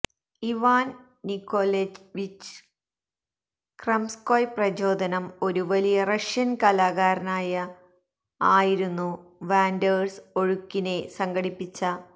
Ivan Nikolaevich Kramskoy പ്രചോദനം ഒരു വലിയ റഷ്യൻ കലാകാരനായ ആയിരുന്നു വാൻഡേഴ്സ് ഒഴുക്കിനെ സംഘടിപ്പിച്ച